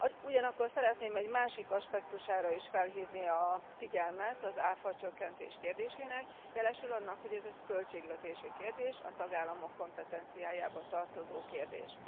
Ugyanakkor szeretném egy másik aspektusára is felhívni a figyelmet az áfacsökkentés kérdésének jelesül annak, hogy ez egy költségvetési kérdés, a tagállamok kompetenciájába tartozó kérdés.